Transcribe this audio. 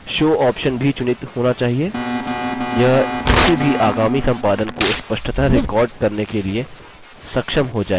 show option भी चुनित होना चाहिए यह किसी भी आगामी संपादन को स्पष्टतः रिकार्ड करने के लिए सक्षम हो जाएगा